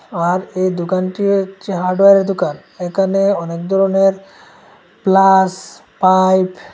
আর এই দোকানটি হচ্ছে হার্ডওয়ারের দোকান এখানে অনেক ধরনের প্লাস পাইফ --